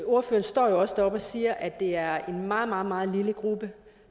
ordføreren står jo også deroppe og siger at det er en meget meget lille gruppe